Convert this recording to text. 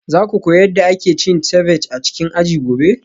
Za ku koyi yadda ake yin ceviche a cikin aji gobe?